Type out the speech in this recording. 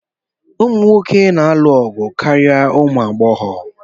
Ụmụ nwoke na-alụ ọgụ karịa ụmụ agbọghọ